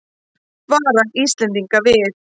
Varar Íslendinga við